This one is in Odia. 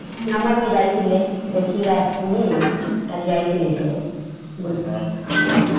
ଆମର ବି ଯାଇଥିଲେ ଦେଖିକି ଆସିଛନ୍ତି । କାଲି ଯାଇଥିଲେ ସିଆଡେ ।